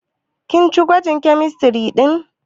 Kin ci gwajin kemistiri ɗin?